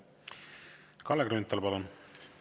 Kalle Grünthal, palun!